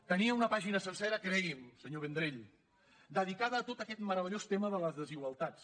tenia una pàgina sencera cregui’m senyor vendrell dedicada a tot aquest meravellós tema de les desigual·tats